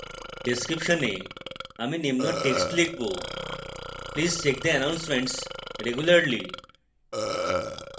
description এ আমি নিম্ন text লিখবো